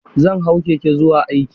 Zan hau keke zuwa aiki.